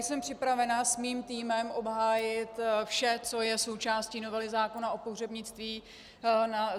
Jsem připravena se svým týmem obhájit vše, co je součástí novely zákona o pohřebnictví.